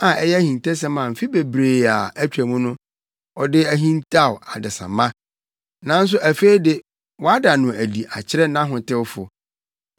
a ɛyɛ ahintasɛm a mfe bebree a atwam no, ɔde hintaw adesamma, nanso afei de, wada no adi akyerɛ nʼahotewfo.